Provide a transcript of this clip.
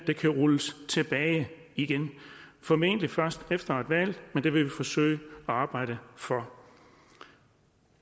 kan rulles tilbage igen formentlig først efter et valg men det vil vi forsøge at arbejde for